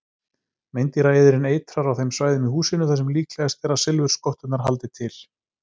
Meindýraeyðirinn eitrar á þeim svæðum í húsinu þar sem líklegast er að silfurskotturnar haldi til.